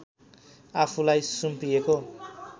आफूलाई सुम्पिएको